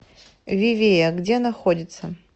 вивея где находится